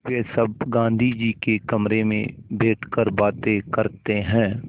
वे सब गाँधी जी के कमरे में बैठकर बातें करते हैं